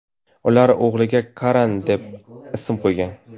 Ular o‘g‘liga Karan deb ism qo‘ygan.